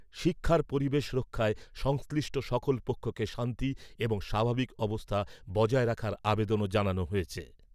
শিক্ষার পরিবেশ রক্ষায় সংশ্লিষ্ট সকল পক্ষকে শান্তি এবং স্বাভাবিক অবস্থা বজায় রাখার আবেদনও জানানো হয়েছে।